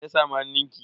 Me ya samu hannunki?